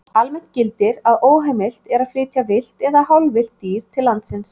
Almennt gildir að óheimilt er að flytja villt eða hálfvillt dýr til landsins.